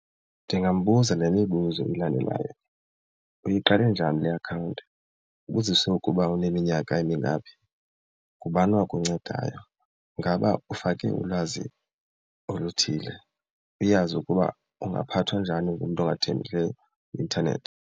Ndingambuza le mibuzo ilandelayo. Uyiqale njani le akhawunti? Ubuzise ukuba uneminyaka emingaphi? Ngubani owakuncedayo? Ingaba ufake ulwazi oluthile uyazi ukuba ungaphathwa njani ngumntu ongathembekileyo kwi-intanethi?